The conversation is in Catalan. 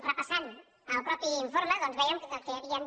repassant el mateix informe doncs vèiem que hi havien